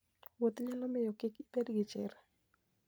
Wuoth nyalo miyo kik ibed gi chir.